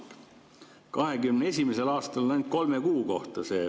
2021. aastal oli see ainult kolme kuu kohta.